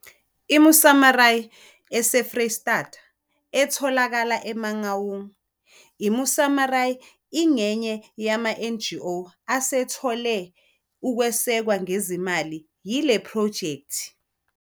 I-Mosamaria eseFreyistata etholakala eMangaung, i-Mosamaria ingenye yamaNGO asethole ukwesekwa ngezimali yile phrojekthi.